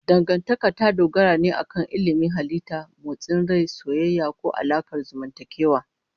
Dangantaka ta dogara ne akan ilimin halitta, motsin rai, soyayya, ko alaƙar zamantakewa.